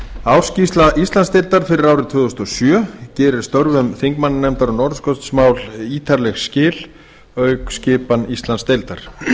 ársskýrsla íslandsdeildar fyrir árið tvö þúsund og sjö gerir störfum þingmannanefndar um norðurskautsmál ítarleg skil auk skipan íslandsdeildar